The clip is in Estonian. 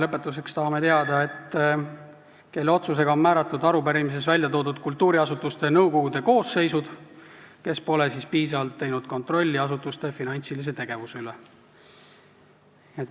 Lõpetuseks tahame teada, kelle otsusega on määratud arupärimises väljatoodud kultuuriasutuste nõukogude koosseisud, kes pole piisavalt kontrollinud asutuste finantsilist tegevust.